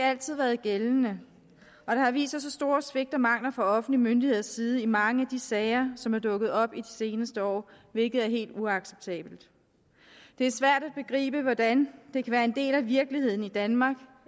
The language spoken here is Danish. altid været gældende og der har vist sig så store svigt og mangler fra offentlige myndigheders side i mange af de sager som er dukket op i de seneste år hvilket er helt uacceptabelt det er svært at begribe hvordan det kan være en del af virkeligheden i danmark